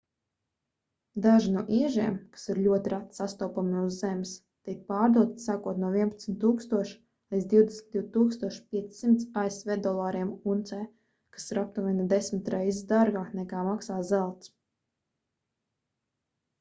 daži no iežiem kas ir ļoti reti sastopami uz zemes tiek pārdoti sākot no 11 000 līdz 22 500 asv dolāriem uncē kas ir aptuveni desmit reizes dārgāk nekā maksā zelts